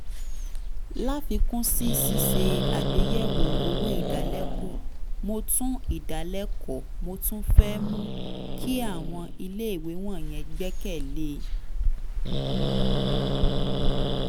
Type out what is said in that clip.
láfikún sí ṣíṣe àgbéyẹ̀wò owó ìdálẹ́kọ̀ọ́ mo tún ìdálẹ́kọ̀ọ́ mo tún fẹ́ mú kí àwọn iléèwé wọ̀nyẹn gbẹ́kẹ̀ lé